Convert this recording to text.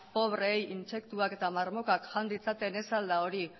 pobreei intsektuak eta marmokak jan ditzaten ez al da hori